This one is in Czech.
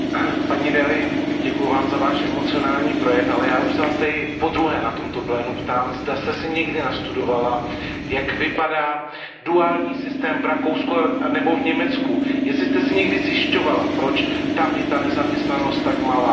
Paní Delliová, děkuju Vám za Váš emociální projev, ale já už se Vás tady podruhé na tomto plénu ptám, zda jste si někdy nastudovala, jak vypadá duální systém v Rakousku nebo v Německu, jestli jste si někdy zjišťovala, proč tam je ta nezaměstnanost tak malá.